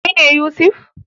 Kai ne Yusuf?